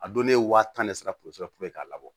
A don ne ye waa tan ni seru porozɛ pe k'a labɔ